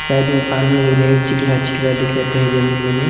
साइड में पानी आहिरे चिक्ला -चिक्ला दिखत हे जमीं मने --